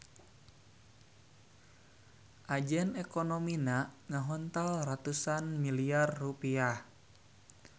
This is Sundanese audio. Ajen ekonomina ngahontal ratusan miliyar rupiah.